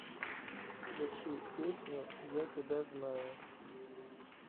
включи песню я тебя знаю